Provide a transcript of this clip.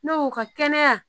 N'o ka kɛnɛya